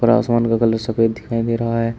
Grass वन का colour सफेद दिखाई दे रहा है।